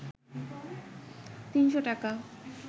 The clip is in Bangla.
৩শ’ টাকা